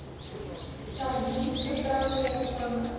sardiens vertrou volkome